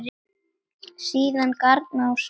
Síðan garn á snældu látum.